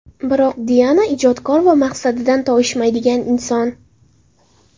Biroq Diana ijodkor va maqsadidan toyishmaydigan inson.